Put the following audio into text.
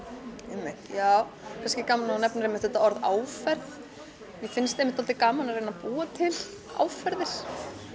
einmitt já kannski gaman að þú nefnir einmitt þetta orð áferð mér finnst einmitt svolítið gaman að reyna að búa til áferðir